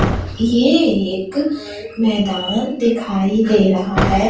ये एक मैदान दिखाई दे रहा है।